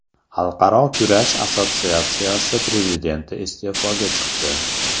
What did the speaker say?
Xalqaro kurash assotsiatsiyasi prezidenti iste’foga chiqdi.